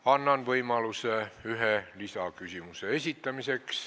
Annan võimaluse ühe lisaküsimuse esitamiseks.